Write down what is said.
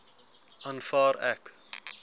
aanvaar ek